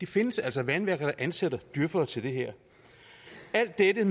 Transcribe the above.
findes altså vandværker der ansætter djøfere til det her alt dette